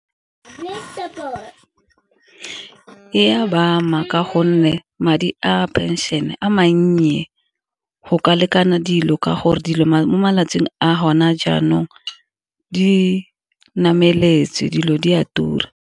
E a ba ama ka gonne madi a pension-e a mannye go ka lekana dilo, ka gore dilo mo malatsing a gona jaanong di nameletse dilo di a tura.